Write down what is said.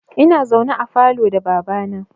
Ina zaune a falo da baba na